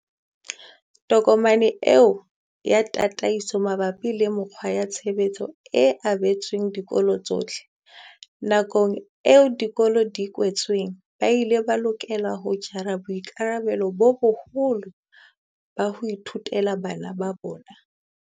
Tokomane eo ya tataiso mabapi le mekgwa ya tshebetso e abetswe dikolo tsohle. Nakong eo dikolo di kwetsweng, ba ile ba lokela ho jara boikarabelo bo boholo ba ho ithutela bana ba bona.